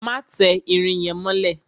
Má tẹ irin yẹn mọ́lẹ̀!